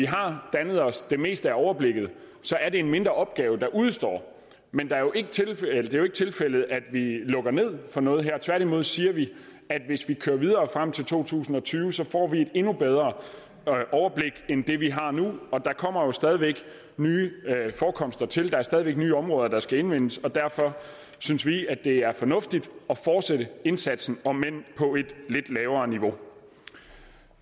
har dannet os det meste af overblikket er det en mindre opgave der udestår men det er jo ikke tilfældet tilfældet at vi lukker ned for noget her tværtimod siger vi at hvis vi kører videre frem til to tusind og tyve får vi et endnu bedre overblik end det vi har nu og der kommer jo stadig væk nye forekomster til der er stadig væk nye områder der skal indvindes og derfor synes vi at det er fornuftigt at fortsætte indsatsen om end på et lidt lavere niveau